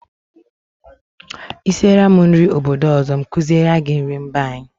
Ị siele m nri obodo ọzọ, m kuziele gị nrị mba anyị.